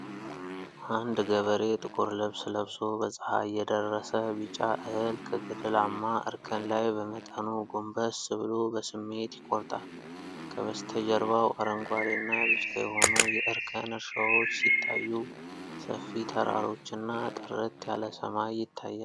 አንድ ገበሬ ጥቁር ልብስ ለብሶ፣ በፀሐይ የደረሰ ቢጫ እህል ከገደላማ እርከን ላይ በመጠኑ ጎንበስ ብሎ በስሜት ይቆርጣል። ከበስተጀርባው አረንጓዴና ቢጫ የሆኑ የእርከን እርሻዎች ሲታዩ፤ ሰፊ ተራሮችና ጥርት ያለ ሰማይ ይታያል።